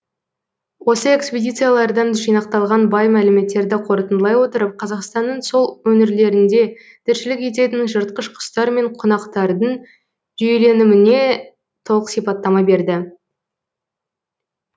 осы экспедициялардан жинақталған бай мәліметтерді қорытындылай отырып қазақстанның сол өңірлерінде тіршілік ететін жыртқыш құстар мен құнақтардың жүйеленіміне толық сипаттама берді